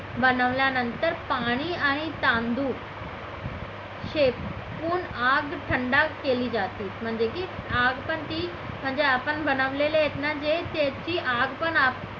बनवल्यानंतर पाणी आणि तांदूळ शिकवून आग थंड केली जाते म्हणजे की आपण ती म्हणजे आपण बनवलेले आहेत ना जे त्याचे आपण